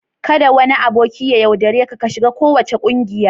Kada wani aboki ya yaudare ka ka shiga kowace kungiya.